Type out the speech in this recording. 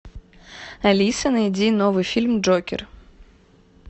алиса найди новый фильм джокер